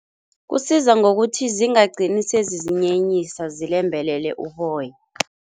Kusiza ngokuthi zingagcini sezizinyenyisa, zilembelele uboya.